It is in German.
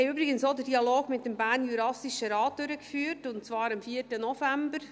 Wir haben übrigens auch den Dialog mit dem Bernjurassischen Rat (BJR) durchgeführt, und zwar am 4. November.